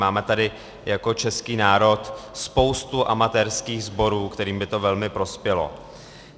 Máme tady jako český národ spoustu amatérských sborů, kterým by to velmi prospělo.